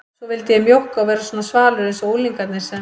Svo vildi ég mjókka og vera svona svalur einsog unglingarnir sem